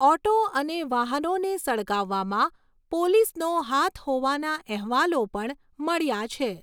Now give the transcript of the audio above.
Auto અને વાહનોને સળગાવવામાં પોલીસનો હાથ હોવાના અહેવાલો પણ મળ્યા છે.